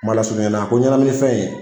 Kuma na ko ɲɛnamini fɛn ye